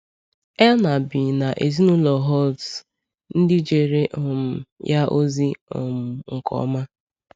Erna biri na ezinụlọ Holtz, ndị jere um ya ozi um nke ọma.